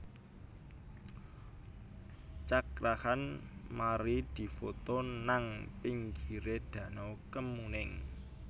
Cakra Khan mari difoto nang pinggire danau Kemuning